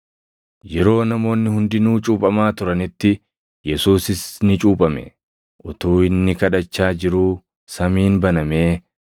Yeroo namoonni hundinuu cuuphamaa turanitti, Yesuusis ni cuuphame. Utuu inni kadhachaa jiruu samiin banamee,